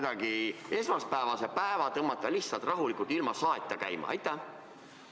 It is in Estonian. Või saame esmaspäevase päeva kuidagi rahulikult, ilma saeta käima tõmmata?